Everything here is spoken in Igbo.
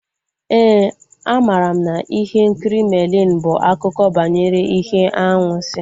Éè, a mara m na ihe nkiri Merlin bụ akụkọ banyere ihe anwansi